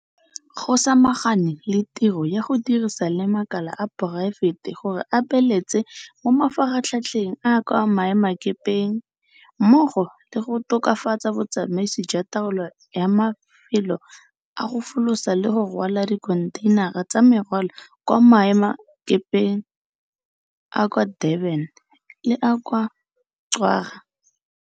Go samaganwe le tiro ya go dirisana le makala a poraefete gore a beeletse mo mafaratlhatlheng a kwa maemakepeng mmogo le go tokafatsa botsamaisi jwa taolo ya mafelo a go folosa le go rwala dikhontheinara tsa merwalo kwa maemelakepeng a kwa Durban le a kwa Ngqura.